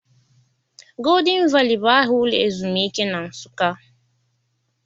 Golden Valley bụ aha ụlọ ezumike na Nsụka.